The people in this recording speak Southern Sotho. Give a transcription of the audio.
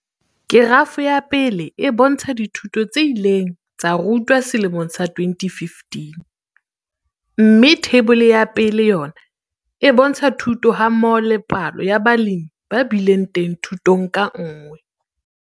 Kerafo ya 1 e bontsha dithuto tse ileng tsa rutwa selemong sa 2015, mme Theibole ya 1 yona e bontsha thuto hammoho le palo ya balemi ba bileng teng thutong ka nngwe.